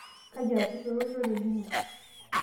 kaji eesishore olchore lino?